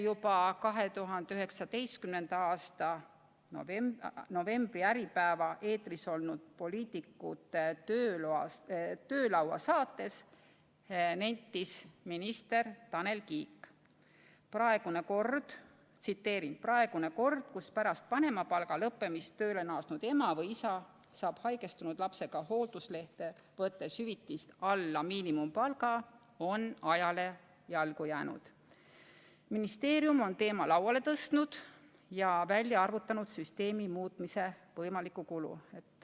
Juba 2019. aasta novembris Äripäeva eetris olnud saates "Poliitikute töölaud" nentis minister Tanel Kiik, et praegune kord, kus pärast vanemapalga lõppemist tööle naasnud ema või isa saab haigestunud lapsega hoolduslehte võttes hüvitist alla miinimumpalga, on ajale jalgu jäänud ning et ministeerium on teema lauale tõstnud ja välja arvutanud süsteemi muutmise võimaliku kulu.